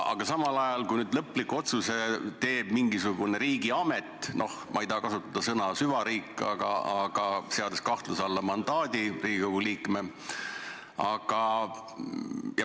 Aga samal ajal lõpliku otsuse teeb mingisugune riigiamet – ma ei taha kasutada sõna "süvariik" –, seades kahtluse alla Riigikogu liikme mandaadi.